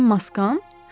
Mənim maskam?